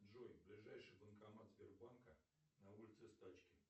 джой ближайший банкомат сбербанка на улице стачки